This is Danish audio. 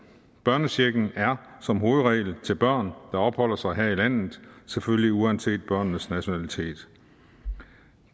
børnechecken er som hovedregel til børn der opholder sig her i landet selvfølgelig uanset børnenes nationalitet